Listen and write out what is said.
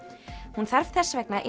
hún þarf þess vegna